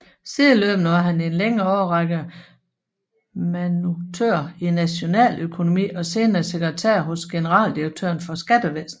Sideløbende var han i en længere årrække manuduktør i nationaløkonomi og senere sekretær hos generaldirektøren for skattevæsenet